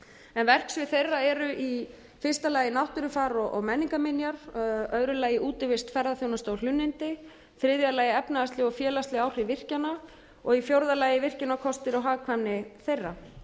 en verksvið þeirra eru í fyrsta lagi náttúrufar og menningarminjar öðru lagi útivist ferðaþjónusta og hlunnindi þriðja lagi efnahagsleg og félagsleg áhrif virkjana og í fjórða lagi virkjunarkostir og hagkvæmni þeirra